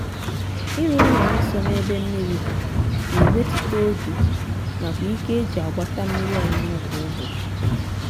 ịrụ ụlọ nsọ n'ebe mmiri dị na ewetute oge nakwa ike e ji ji agbata mmiri ọṅụṅụ kwa ụbọchị